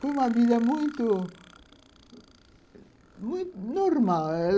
Foi uma vida muito, muito normal.